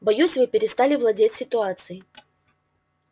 боюсь вы перестали владеть ситуацией